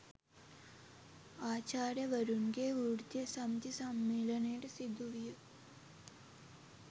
ආචාර්යවරුන්ගේ වෘත්තීය සමිති සම්මේලනයට සිදුවිය